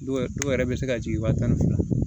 Dɔw yɛrɛ dɔw yɛrɛ bɛ se ka jigin wa tan ni fila la